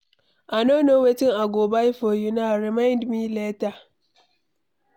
I no know wetin I go buy for una. Remind me later.